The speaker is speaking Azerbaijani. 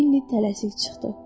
Leni tələsik çıxdı.